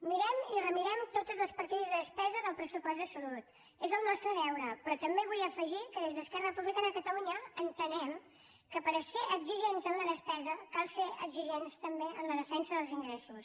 mirem i remirem totes les partides de despesa del pressupost de salut és el nostre deure però també vull afegir que des d’esquerra republicana de catalunya entenem que per ser exigents en la despesa cal ser exigents també en la defensa dels ingressos